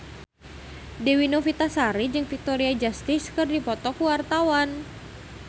Dewi Novitasari jeung Victoria Justice keur dipoto ku wartawan